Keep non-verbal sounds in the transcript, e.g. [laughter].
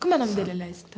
Como é o nome dele? [unintelligible]